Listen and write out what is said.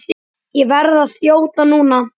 Ég verð að þjóta núna.